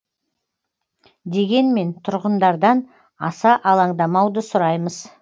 дегенмен тұрғындардан аса алаңдамауды сұраймыз